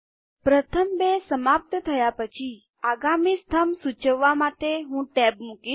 પ્રથમ બે સમાપ્ત થયા પછી આગામી સ્તંભ સૂચવવા માટે હું ટેબ મુકીશ